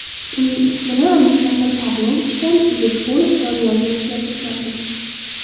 Uning ismini Aleksandr Pavlovichdan Irisqulov Doniyorga o‘zgartirganmiz.